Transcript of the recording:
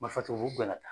Marifa b'u bɛɛ la tan